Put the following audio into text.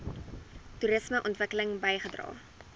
toerisme ontwikkeling bygedra